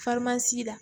la